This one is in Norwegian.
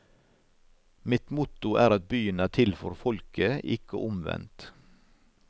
Mitt motto er at byen er til for folket, ikke omvendt.